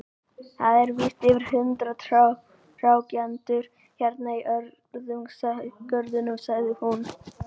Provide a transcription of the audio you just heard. Það eru víst yfir hundrað trjátegundir hérna í görðunum, sagði hún.